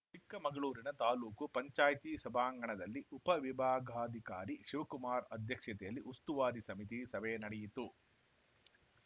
ಚಿಕ್ಕಮಗಳೂರಿನ ತಾಲೂಕು ಪಂಚಾಯ್ತಿ ಸಭಾಂಗಣದಲ್ಲಿ ಉಪ ವಿಭಾಗಾಧಿಕಾರಿ ಶಿವಕುಮಾರ್‌ ಅಧ್ಯಕ್ಷತೆಯಲ್ಲಿ ಉಸ್ತುವಾರಿ ಸಮಿತಿ ಸಭೆ ನಡೆಯಿತು